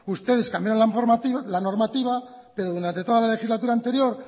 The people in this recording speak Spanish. ustedes cambiaron la normativa pero durante toda la legislatura anterior